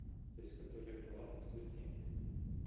то есть которая была по сути